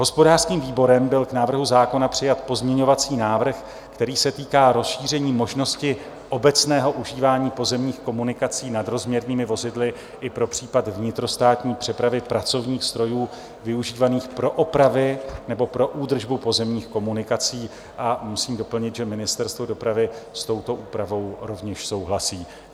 Hospodářským výborem byl k návrhu zákona přijat pozměňovací návrh, který se týká rozšíření možnosti obecného užívání pozemních komunikací nadrozměrnými vozidly i pro případ vnitrostátní přepravy pracovních strojů využívaných pro opravy nebo pro údržbu pozemních komunikací, a musím doplnit, že Ministerstvo dopravy s touto úpravou rovněž souhlasí.